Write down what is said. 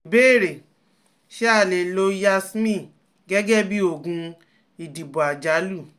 Ìbéèrè: Ṣé a lè lo Yasmin gẹ́gẹ́ bí oògùn ìdìbò àjálù?